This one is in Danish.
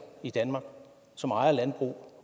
i danmark som ejer landbrug